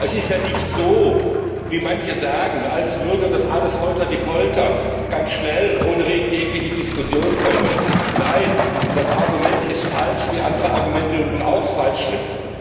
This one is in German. Es ist ja nicht so wie manche sagen, als würde das alles holterdiepolter ganz schnell, ohne jegliche Diskussion kommen nein, das Argument ist falsch, wie andere Argumente im Übrigen auch falsch sind.